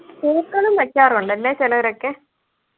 പൂക്കളും വെക്കാറുണ്ട് അല്ലെ ചിലരൊക്കെ